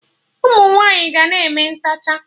Ụmụnwaanyi ga na-eme ntechaa